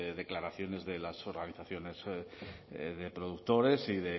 declaraciones de las organizaciones de productores y